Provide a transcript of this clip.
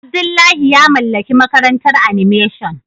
Abdullahi ya mallaki makarantar animation.